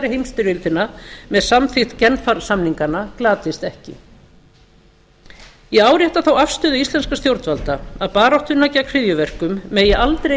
heimsstyrjöldina með samþykki genfarsamninganna glatist ekki ég árétta þá afstöðu íslenskra stjórnvalda að baráttuna gegn hryðjuverkum megi aldrei